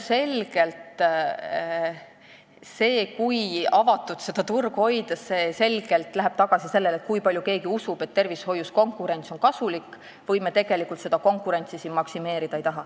See, kui avatuna seda turgu hoida, läheb selgelt tagasi küsimuseni, kas me usume, et tervishoius on konkurents kasulik, või me tegelikult ei taha siin seda konkurentsi maksimeerida.